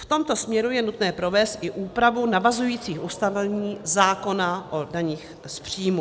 V tomto směru je nutné provést i úpravu navazujících ustanovení zákona o daních z příjmů.